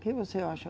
O que você acha?